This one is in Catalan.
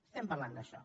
estem parlant d’això